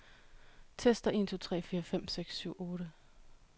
Tester en to tre fire fem seks syv otte.